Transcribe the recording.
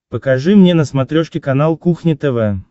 покажи мне на смотрешке канал кухня тв